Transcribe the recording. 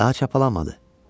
Daha çabalamadı.